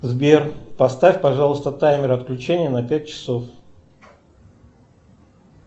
сбер поставь пожалуйста таймер отключения на пять часов